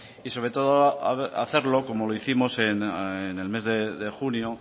y sobre todo hacerlo como lo hicimos en el mes de junio